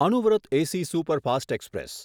Anuvrat AC superfast express